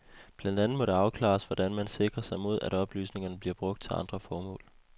Blandt andet må det afklares, hvordan man sikrer sig mod, at oplysningerne bliver brugt til andre formål.